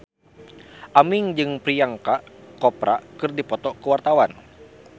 Aming jeung Priyanka Chopra keur dipoto ku wartawan